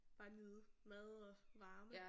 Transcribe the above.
Bare nyde mad og varme